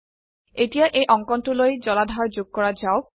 এতিয়া এই অঙ্কনটোলৈ জলাধাৰ যোগ কৰা যাওক